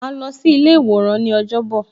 Ma lọ sí ilé iworan ni ọjọ́ bọ̀